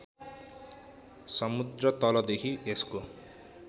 समुद्रतलदेखि यसको